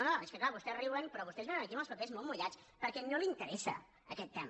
no és que clar vostès riuen però vostès vénen aquí amb els papers molt mullats perquè no li interessa aquest tema